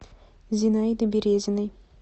зинаиды березиной